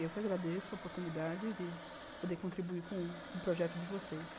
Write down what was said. Eu que agradeço a oportunidade de poder contribuir com o projeto de vocês.